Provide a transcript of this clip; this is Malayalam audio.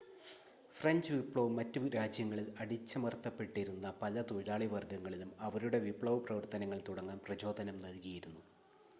ഫ്രെഞ്ച് വിപ്ലവം മറ്റു രാജ്യങ്ങളിൽ അടിച്ചമർത്തപ്പെട്ടിരുന്ന പല തൊഴിലാളി വർഗ്ഗങ്ങളിലും അവരുടെ വിപ്ലവപ്രവർത്തനങ്ങൾ തുടങ്ങാൻ പ്രചോദനം നൽകിയിരുന്നു